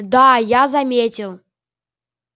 да я заметил